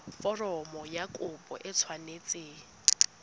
foromo ya kopo e tshwanetse